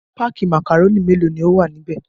Páákì màkàrónì mélòó ni ó wà níbẹ̀?